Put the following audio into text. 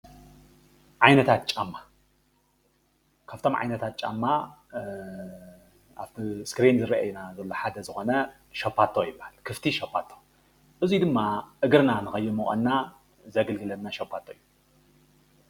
ዓይነታት ጫማ ፦ ካብቶም ዓይነታት ጫማ ኣብ ስክሪን ዝራኣዩና ዘሎ ሓደ ዝኾነ ሻባቶ ይብሃል። ክፍቲ ሻባቶ እዚ ድማ እግርና ንከይሞቐና ዘገልግለና ሻባቶ እዩ።